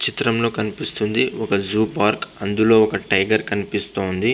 చిత్రంలో కనిపిస్తునది ఒక జూ పార్క్ . అందులో ఒక టైగర్ కనిపిస్తుంది.